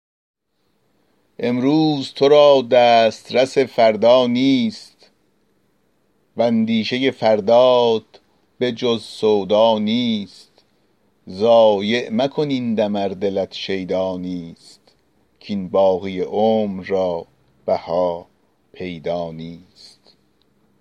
امروز تو را دسترس فردا نیست واندیشه فردات به جز سودا نیست ضایع مکن این دم ار دلت شیدا نیست کاین باقی عمر را بها پیدا نیست